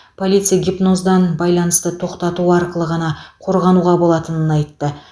полиция гипноздан байланысты тоқтату арқылы ғана қорғануға болатынын айтты